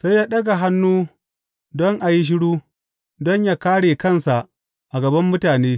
Sai ya ɗaga hannu don a yi shiru don yă kāre kansa a gaban mutane.